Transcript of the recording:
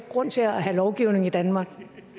grund til at have lovgivning i danmark